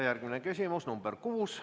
Järgmine küsimus, nr 6.